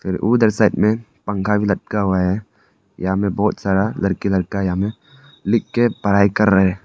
उधर साइड में पंखा भी लटका हुआ है यहां मे बहुत सारा लड़की लड़का यहां में लिख के पढ़ाई कर रहे--